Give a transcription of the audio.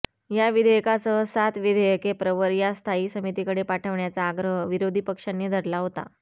या विधेयकासह सात विधेयके प्रवर वा स्थायी समितीकडे पाठवण्याचा आग्रह विरोधी पक्षांनी धरला होता